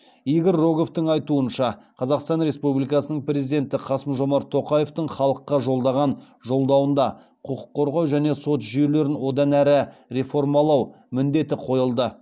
игорь роговтың айтуынша қазақстан республикасының президенті қасым жомарт тоқаевтың халыққа жолдаған жолдауында құқық қорғау және сот жүйелерін одан әрі реформалау міндеті қойылды